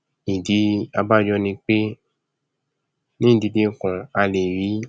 ìdí abájọ ni pé ní ìdílé kan a lè rí